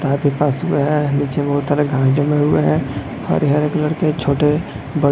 आपके पास में है नीचे बहुत तरह घर जमे हुए हैं ह रे-हरे कलर के छोटे-ब--